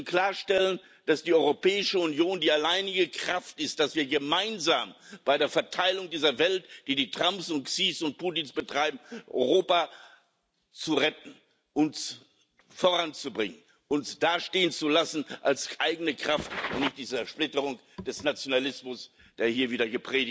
Wir müssen klarstellen, dass die Europäische Union die alleinige Kraft ist, um gemeinsam bei der Verteilung dieser Welt, die die Trumps und Xis und Putins betreiben, Europa zu retten, uns voranzubringen, uns dastehen zu lassen als eigene Kraft, und nicht die Zersplitterung des Nationalismus, der hier wieder